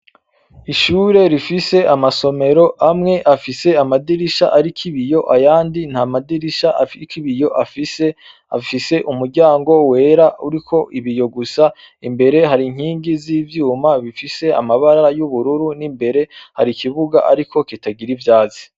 Ishure rifise amasomero amwe afise amadirisha, ariko ibiyo ayandi nta madirisha afiko ibiyo afise afise umuryango wera uriko ibiyo gusa imbere hari nkingi z'ivyuma bifise amabarara y'ubururu n'imbere hari ikibuga, ariko kitagira ivyazi.